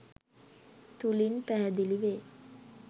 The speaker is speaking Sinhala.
තුළින් පැහැදිලි වේ.